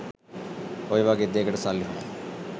ඔය වගේ දේකට සල්ලි හොයන්න